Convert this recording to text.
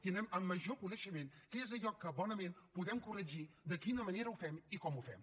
tindrem amb major coneixement què és allò que bonament podem corregir de quina manera ho fem i com ho fem